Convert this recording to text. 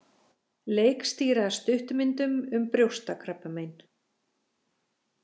Leikstýra stuttmyndum um brjóstakrabbamein